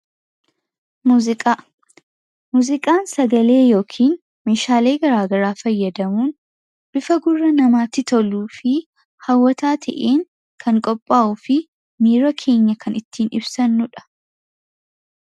Muuziqaa; muuziqaan sagalee yookiin meeshaalee garaagaraa fayyadamuun bifa gurra namaatti toluu fi hawwataa ta'een kan qophaa'uu fi miira keenya kan ittiin ibsannuudha.